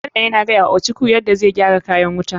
Bello yana gayawa ochuku yana zai gyara kayan wuta.